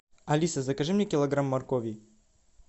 алиса закажи мне килограмм моркови